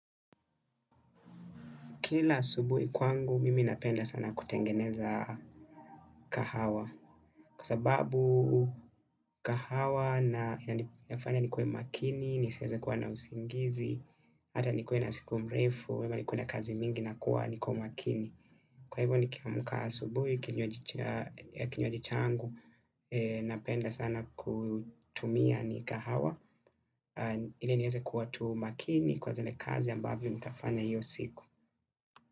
Kila asubuhi kwangu mimi napenda sana kutengeneza kahawa kwa sababu kahawa na inifanya nikuwe makini, nisieze kuwa na usingizi, hata nikuwa na siku mrefu, ama nikue na kazi mingi nakuwa niko makini. Kwa hivyo nikiamka asubuhi, kinywaji changu, napenda sana kutumia ni kahawa, ili nieze kuwa tu makini kwa zile kazi ambavyo mtafanya hiyo siku.